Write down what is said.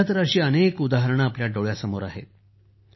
सध्या तर अशी अनेक उदाहरणे आपल्या समोर आहेत